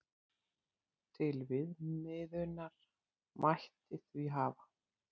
Til viðmiðunar mætti því hafa